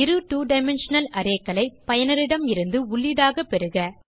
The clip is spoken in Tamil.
இரு 2டைமென்ஷனல் arrayகளை பயனரிடமிருந்து உள்ளீடாக பெறுக